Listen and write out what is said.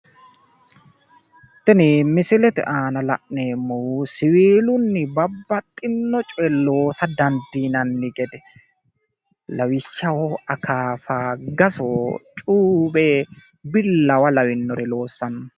Tini misilete aana la'neemmohu siwiillunni babbaxxinno coye loosa dandiinanni gede, lawishshaho akaafa, gaso, cuuwenna billawa lawinore loossanno.